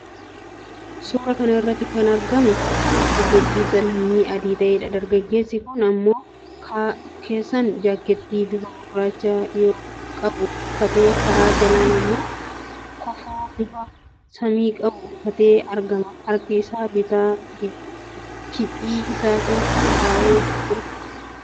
Suuraa kana irratti kan argamu dargaggeessa lammii adii ta'eedha. Dargaggeessi kun irra keessaan 'jaakkettii' bifa gurraacha qabu uffatee, karaa jalaan immoo kofoo bifa samii qabu uffatee argama. Harka isaa bitaa giphii isaa keessa ka'atee argama.